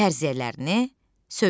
Fərziyyələrini söylə.